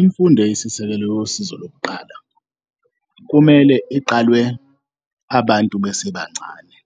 Imfundo eyisisekelo yosizo lokuqala kumele iqalwe abantu besebancane,